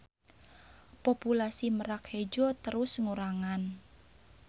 Populasi Merak Hejo terus ngurangan.